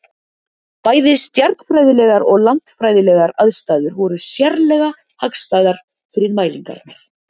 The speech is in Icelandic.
Bæði stjarnfræðilegar og landfræðilegar aðstæður voru sérlega hagstæðar fyrir mælingarnar.